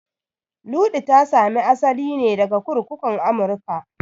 Luɗu ta sami asali ne daga kurkukun Amurka